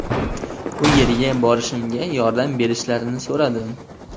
U yerga borishimga yordam berishlarini so‘radim.